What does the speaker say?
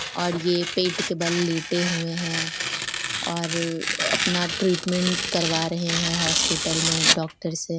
और ये पेट के बल लेटे हुए हैं और अपना ट्रीटमेंट करवा रहे हैं हॉस्पिटल में डॉक्टर से।